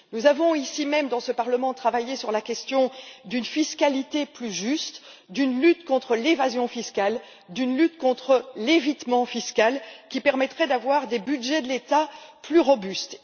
Nous avons, ici même, dans ce Parlement, travaillé sur la question d'une fiscalité plus juste, d'une lutte contre l'évasion fiscale, d'une lutte contre l'évitement fiscal qui permettrait d'avoir des budgets de l'État plus robustes.